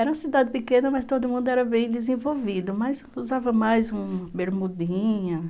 Era uma cidade pequena, mas todo mundo era bem desenvolvido, mas usava mais uma bermudinha,